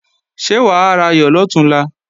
Ṣé wà á rayọ̀ lọ̀túnla?